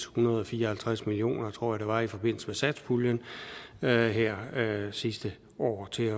hundrede og fire og halvtreds million kr tror jeg det var i forbindelse med satspuljen her her sidste år til